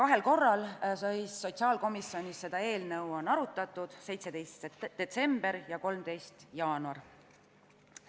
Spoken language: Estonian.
Seda eelnõu on sotsiaalkomisjonis arutatud kahel korral, 17. detsembril ja 13. jaanuaril.